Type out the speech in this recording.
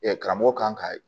karamɔgɔ kan ka